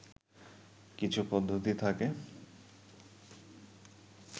কিছু পদ্ধতি থাকে